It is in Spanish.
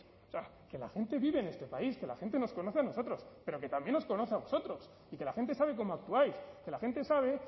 o sea que la gente vive en este país que la gente nos conoce a nosotros pero que también os conoce a vosotros y que la gente sabe cómo actuáis que la gente sabe